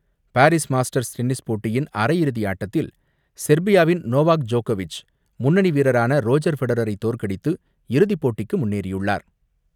Paris Masters tennis போட்டியின் அரையிறுதி ஆட்டத்தில் செர்பியாவின் நோவாக் ஜோக்கோவிச், முன்னணி வீரரான ரோஜர் ஃபெடரரை தோற்கடித்து இறுதிப் போட்டிக்கு முன்னேறியுள்ளார்.